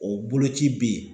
O boloci be ye.